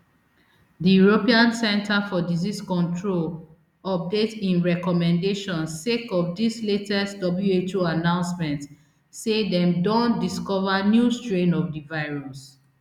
di european centre for disease control update im recommendation sake of dis latest who announcement say dem don discover new strain of di virus